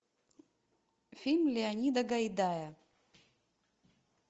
фильм леонида гайдая